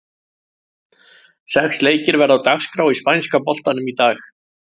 Sex leikir verða á dagskrá í spænska boltanum í dag.